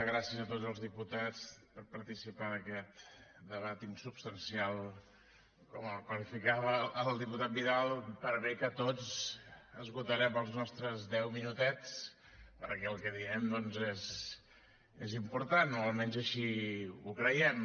gràcies a tots els diputats per participar d’aquest debat insubstancial com el qualificava el diputat vidal per bé que tots esgotarem els nostres deu minutets perquè el que direm doncs és important o almenys així ho creiem